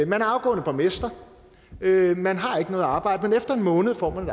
man er afgående borgmester man har ikke noget arbejde men efter en måned får man